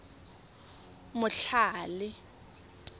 motlhale